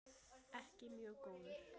Ekki mjög góður.